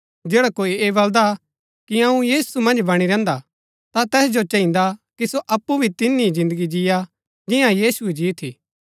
जैडा कोई ऐह बलदा कि अऊँ यीशु मन्ज बणी रैहन्दा ता तैस जो चहिन्दा कि सो अप्पु भी तिन्ही ही जिन्दगी जियां जिन्या यीशुऐ जी थी